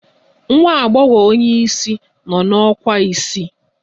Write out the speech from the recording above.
Nwa agbogho onye isi no na ọkwa isii